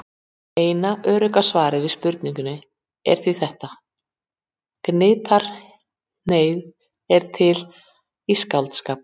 Eina örugga svarið við spurningunni er því þetta: Gnitaheiði er til í skáldskap.